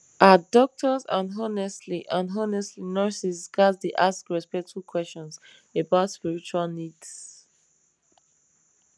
ah doctors and honestly and honestly nurses ghats dey ask respectful questions about spiritual needs